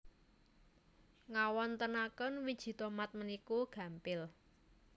Ngawontenaken wiji tomat puniku gampil